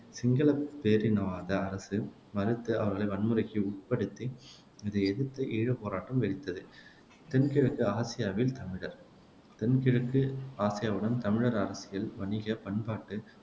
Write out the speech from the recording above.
சிங்களப் பேரினவாத அரசு மறுத்து அவர்களை வன்முறைக்கு உட்படுத்தியது இதை எதிர்த்து ஈழப்போராட்டம் வெடித்தது தென்கிழக்கு ஆசியாவில் தமிழர் தென்கிழக்கு ஆசியாவுடன் தமிழர் அரசியல், வணிக, பண்பாட்டு